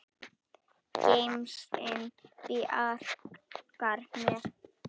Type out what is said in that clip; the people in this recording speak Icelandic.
Gemsinn bjargar mér.